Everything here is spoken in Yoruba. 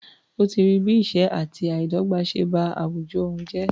Ó ti rí bí ìṣẹ́ àti àìdọ́gbà ṣe bá àwùjọ òun jà.